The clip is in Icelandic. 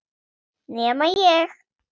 Nema ég.